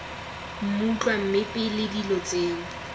mmutlwa mme pele dilo tseno